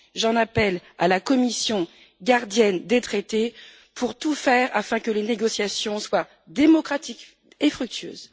J'en appelle à la Commission, gardienne des traités, pour tout faire afin que les négociations soient démocratiques et fructueuses.